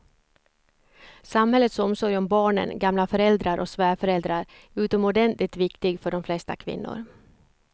Samhällets omsorg om barnen, gamla föräldrar och svärföräldrar är utomordentligt viktig för de flesta kvinnor.